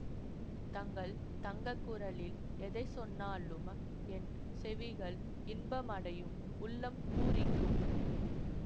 தங்கள் தங்க குரலில் எதை சொன்னாலும் என் செவிகள் இன்பம் அடையும் உள்ளம் பூரிக்கும்